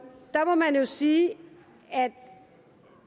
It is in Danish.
der må man jo sige at